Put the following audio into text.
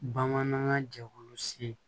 Bamanankan jɛkulu se